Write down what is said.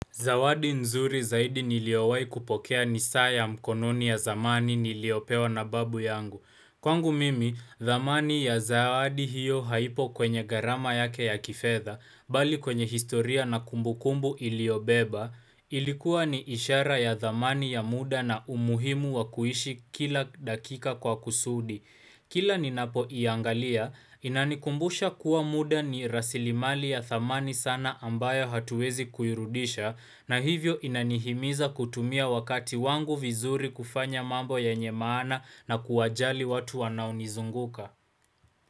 Zawadi nzuri zaidi niliowai kupokea ni saa ya mkononi ya zamani niliopewa na babu yangu. Kwangu mimi, dhamani ya zawadi hiyo haipo kwenye gharama yake ya kifedha, bali kwenye historia na kumbukumbu iliobeba, ilikuwa ni ishara ya dhamani ya muda na umuhimu wa kuishi kila dakika kwa kusudi. Kila ninapoiangalia, inanikumbusha kuwa muda ni rasilimali ya thamani sana ambayo hatuwezi kuirudisha, na hivyo inanihimiza kutumia wakati wangu vizuri kufanya mambo yenye maana na kuwajali watu wanaonizunguka.